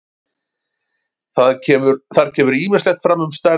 Þar kemur ýmislegt fram um stærð alheimsins.